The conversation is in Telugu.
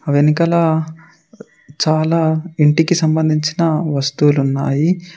వెనకాల చాలా ఇంటికి సంబంధించిన వస్తువులు ఉన్నాయి.